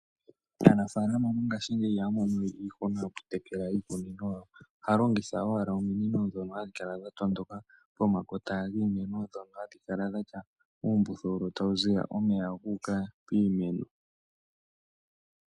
Aanafalama mongashingeyi ihaya mono we iihuna yoku tekela iikunino yawo. Ohaya longitha owala ominino ndhono hadhi kala dha tondoka pomakota giimeno ndhono hadhi kala dhatya uumbululu tawu ziya omeya guuka piimeno.